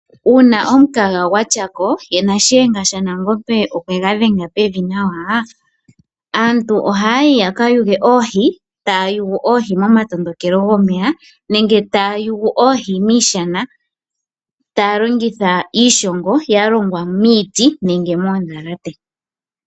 Uuna omukaga gwatyako, ye na shiyenga shanangombe okwega dhenga pevi nawa, aantu ohayayi yaka yuge oohi, taya yugu miitondokelo yomeya nenge miishana, taya longitha iishongo ya longwa miiti nenge moondhalate.